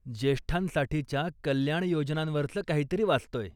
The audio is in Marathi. ज्येष्ठांसाठीच्या कल्याणयोजनांवरचं काहीतरी वाचतोय.